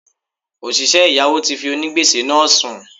Òsìsẹ́ ẹ̀yáwó ti fi onígbèsè náà sùn